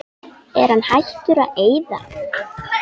Er hann hættur að eyða?